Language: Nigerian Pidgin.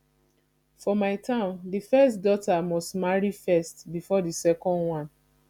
for my town the first daughter must marry first before the second one